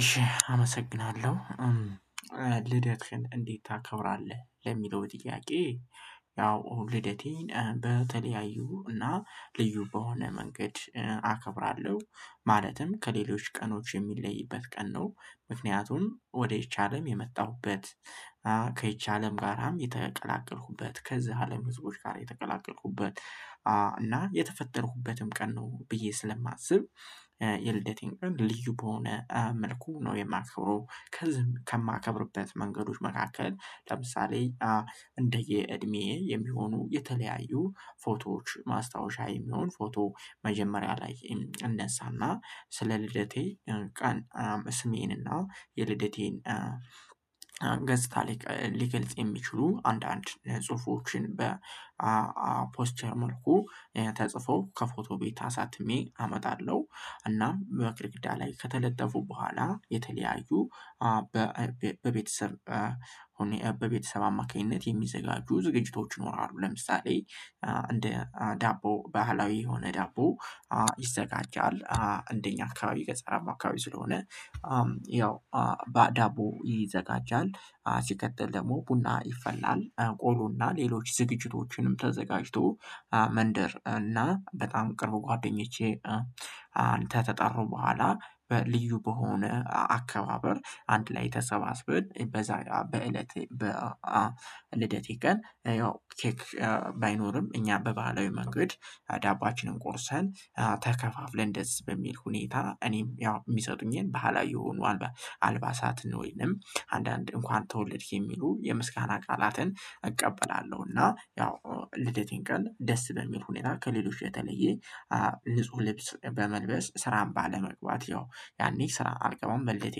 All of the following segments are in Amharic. እሺ አመሰግናለሁ ልደትህን እንዴት ታከብራለህ ለሚለው ጥያቄ? ያው ልደቴን በተለያዩ እና ልዩ በሆነ መንገድ አከብራለሁ ማለትም ከሌሎች ቀኖች የሚለይበት ቀን ነው። ምክንያቱም ወደ ይቻለም የመጣሁበት አለም ጋርም የተቀላቀልኩበት ከዚህ አለም ህዝቦች ጋር የተቀላቀልኩበት እና የተፈጠርኩበትም ቀን ነው ብዬ ስለማስብ። የልደቴን ልዩ በሆነ መልኩ ነው የማከብረው። ከማከብርበት መንገዶች መካከል ለምሳሌ። እንደ የእድሜ የሚሆኑ የተለያዩ ፎቶዎች ማስታወሻ የሚሆን ፎቶ መጀመሪያ ላይ እነሳና ስለ ልደቴ ቀን ስሜንና የልደቴን ገጽታ ሊገልጽ የሚችሉ አንዳንድ ጽሁፎችን በፖስቸር መልኩ ተጽፎ ከፎቶ ቤት አሳትሜ አመጣለሁ። እናም በግርግዳ ላይ ከተለጠፉ በኋላ የተለያዩ በቤተሰብ በቤተሰብ አማካኝነት የሚዘጋጁ ዝግጅቶች ይኖራሉ። ለምሳሌ እንደ ዳቦ ባህላዊ የሆነ ዳቦ ይዘጋጃል አካባቢ ገጸራማ አካባቢ ስለሆነ። ያው ባዳቦ ይዘጋጃል ሲቀጥል ደግሞ ቡና ይፈላል ቆሎና ሌሎች ዝግጅቶችንም ተዘጋጅቶ መንደር እና በጣም ቅርብ ጓደኞቼ። አንተ ተጠሩ በኋላ በልዩ በሆነ አከባበር አንድ ላይ ተሰባስበን በዛ በእለቴ በልደቴ ቀን ያው ኬክ ባይኖርም እኛ በባህላዊ መንገድ። ዳቦአችንን ቆርሰን ተከፋፍለን ደስ በሚል ሁኔታ እኔም ያው የሚሰጡኝን ባህላዊ የሆኑ አልባሳት ነው ወይንም አንዳንድ እንኳን ተወለድክ የሚሉ የምስጋና ቃላትን እቀበላለሁ። እና ያው ልደቴን ቀን ደስ በሚል ሁኔታ ከሌሎች የተለየ ንጹህ ልብስ በመልበስ ስራን ባለመግባት ያው ያኔ ስራ አልገባም በልደቴ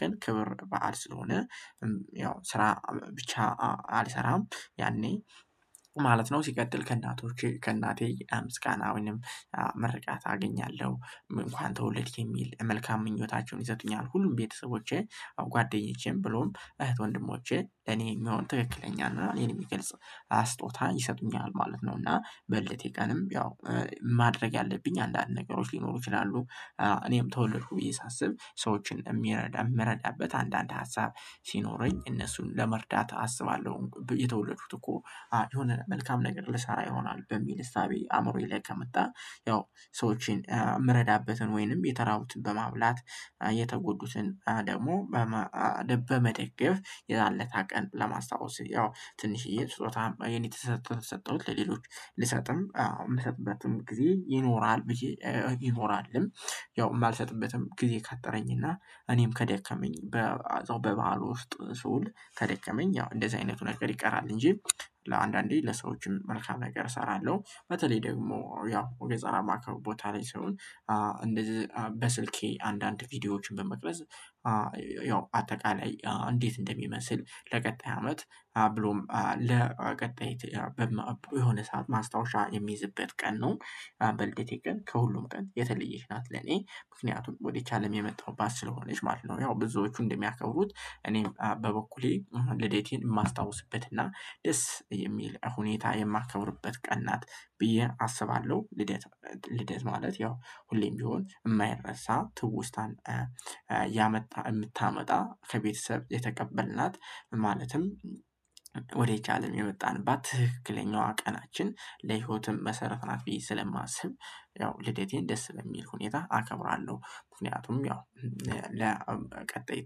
ቀን ክብር በዓል ስለሆነ። ያው ስራ ብቻ አልሰራም ያኔ ማለት ነው። ሲቀጥል ከእናቶች ከእናቴ ምስጋና ወይም ምርቃት አገኛለሁ እንኳን ተወልድክ የሚል መልካም ምኞታቸውን ይሰጡኛል። ሁሉም ቤተሰቦቼ ጓደኞቼም ብሎም እህት ወንድሞቼ እኔ የሚሆን ትክክለኛ ነው እኔን የሚገልጽ አስጦታ ይሰጡኛል ማለት ነው። እና በልደቴ ቀንም ያው ማድረግ ያለብኝ አንዳንድ ነገሮች ሊኖሩ ይችላሉ። እኔም ተወልዶ ብዬ ሳስብ ሰዎችን የሚረዳ የምረዳበት አንዳንድ ሀሳብ ሲኖረኝ እነሱን ለመርዳት አስባለሁ የተወለዱት እኮ የሆነ መልካም ነገር ልሰራ ይሆናል በሚል እሳቤ አእምሮዬ ላይ ከመጣ። ያው ሰዎችን የምረዳበትን ወይንም የተራቡትን በማብላት እየተጎዱትን ደግሞ በመደገፍ የዛን ለታ ቀን ለማስታወስ ያው ትንሽዬ ስጦታም የኔ ተሰጥቶ ተሰጠሁት ለሌሎች ልሰጥም አዎ የምሰጥበትም ጊዜ ይኖራል። ይኖራልም ያው የማልሰጥበትም ጊዜ ካጠረኝና እኔም ከደከመኝ። በበዓሉ ውስጥ ስውል ተደከመኝ ያው እንደዚህ አይነቱ ነገር ይቀራል እንጂ ለአንዳንዴ ለሰዎችም መልካም ነገር እሰራለሁ። በተለይ ደግሞ ያው ወገጻራማ ከቦታ ላይ ሰውን እንደዚህ በስልኬ አንዳንድ ቪዲዮዎችን በመቅረጽ ያው አጠቃላይ እንዴት እንደሚመስል ለቀጣይ አመት ብሎም ለቀጣይ በመበዙ የሆነ ሰዓት ማስታወሻ የሚይዝበት ቀን ነው። በልደቴ ግን ከሁሉም ቀን የተለየች ናት ለኔ ምክንያቱም ወደቻለም የመጣሁባት ስለሆነች ማለት ነው ያው ብዙዎቹ እንደሚያከብሩት እኔም በበኩሌ ለዴቴን የማስታውስበትና ደስ የሚል ሁኔታ የማከብርበት ቀን ናት ብዬ አስባለሁ። ልደት ማለት ያው ሁሌም ቢሆን የማይረሳ ትውስታን ያመጣ የምታመጣ ከቤተሰብ የተቀበልናት ማለትም ወደ ቻለም የመጣንባት ትክክለኛዋ ቀናችን ለህይወትም መሰረት ናት ብዬ ስለማስብ። ያው ልደቴን ደስ በሚል ሁኔታ አከብራለሁ። ምክንያቱም ያው ለቀጣይ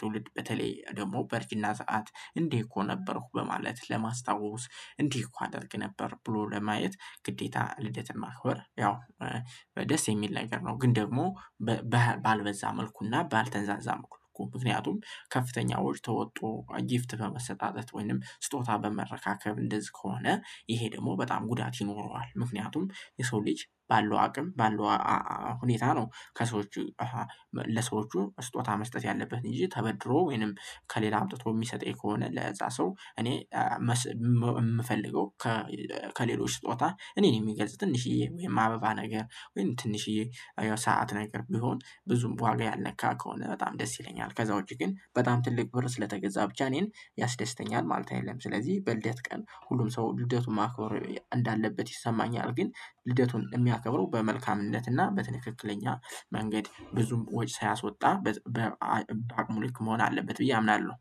ትውልድ በተለይ ደግሞ በርጅና ሰዓት እንዲህ እኮ ነበርኩ በማለት ለማስታወስ እንዲህ እኮ አደርግ ነበር ብሎ ለማየት ግዴታ ልደት ማክበር ያው ደስ የሚል ነገር ነው። ግን ደግሞ ባልበዛ መልኩና ባልተንዛዛ መልኩ ምክንያቱም ከፍተኛ ወጭ ተወጦ ጊፍት በመሰጣጠት ወይንም ስጦታ በመረካከብ እንደዚህ ከሆነ ይሄ ደግሞ በጣም ጉዳት ይኖረዋል። ምክንያቱም የሰው ልጅ ባለው አቅም ባለው ሁኔታ ነው። ከሰዎች ለሰዎቹ ስጦታ መስጠት ያለበት እንጂ ተበድሮ ወይንም ከሌላ አምጥቶ የሚሰጠኝ ከሆነ ለዛ ሰው እኔ የምፈልገው። ከሌሎች ጦጣ እኔን የሚገልጽ ትንሽዬ ወይም አበባ ነገር ወይም ትንሽዬ ሰዓት ነገር ቢሆን ብዙም በዋጋ ያልነካ ከሆነ በጣም ደስ ይለኛል። ከዛ ውጪ ግን በጣም ትልቅ ብር ስለተገዛ ብቻ እኔን ያስደስተኛል ማለት አይደለም። ስለዚህ በልደት ቀን ሁሉም ሰው ልደቱን ማከብር እንዳለበት ይሰማኛል። ግን ልደቱን የሚያከብረው በመልካምነትና በትክክለኛ መንገድ ብዙም ወጪ ሳያስወጣ በሙሉ ልክ መሆን አለበት ብዬ አምናለሁ።